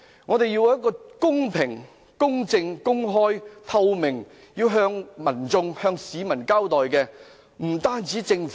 "我們要公平、公正、公開及透明地向市民交代。